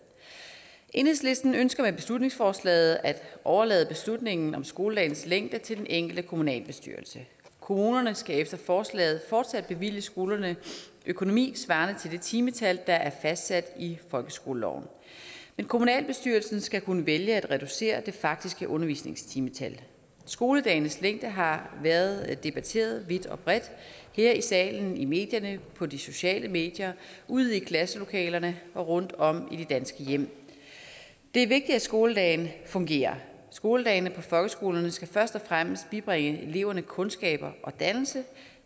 enhedslisten ønsker med beslutningsforslaget at overlade beslutningen om skoledagens længde til den enkelte kommunalbestyrelse kommunerne skal efter forslaget fortsat bevilge skolerne økonomi svarende til det timetal der er fastsat i folkeskoleloven en kommunalbestyrelse skal kunne vælge at reducere det faktiske undervisningstimetal skoledagenes længde har været debatteret vidt og bredt her i salen i medierne på de sociale medier ude i klasselokalerne og rundtom i de danske hjem det er vigtigt at skoledagen fungerer skoledagene på folkeskolerne skal først og fremmest bibringe eleverne kundskaber og dannelse